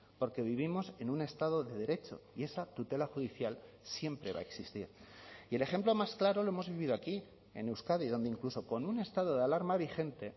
porque vivimos en un estado de derecho y esa tutela judicial siempre va a existir y el ejemplo más claro lo hemos vivido aquí en euskadi donde incluso con un estado de alarma vigente